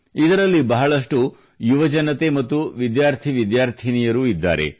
ಇದರಲ್ಲಿ ಬಹಳಷ್ಟು ಯುವಜನತೆ ಮತ್ತು ವಿದ್ಯಾರ್ಥಿ ವಿದ್ಯಾರ್ಥಿನಿಯರೂ ಇದ್ದಾರೆ